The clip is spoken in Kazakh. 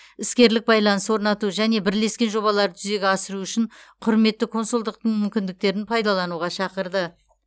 іскерлік байланыс орнату және бірлескен жобаларды жүзеге асыру үшін құрметті консулдықтың мүмкіндіктерін пайдалануға шақырды